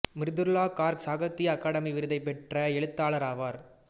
மிருதுளா கார்க் சாகித்திய அகாதமி விருதைப் பெற்ற எழுத்தாளர் ஆவார்